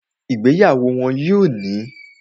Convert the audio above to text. Ìgbéyàwó wọ́n yóò ní